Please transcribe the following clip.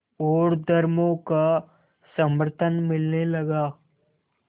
और धर्मों का समर्थन मिलने लगा